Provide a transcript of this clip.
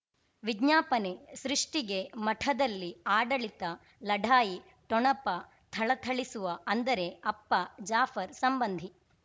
ವಿಜ್ಞಾಪನೆ ಸೃಷ್ಟಿಗೆ ಮಠದಲ್ಲಿ ಆಡಳಿತ ಲಢಾಯಿ ಠೊಣಪ ಥಳಥಳಿಸುವ ಅಂದರೆ ಅಪ್ಪ ಜಾಫರ್ ಸಂಬಂಧಿ